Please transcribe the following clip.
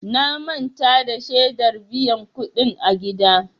Na manta da shedar biyan kuɗin a gida.